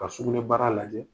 Ka sukunɛ baara lajɛ.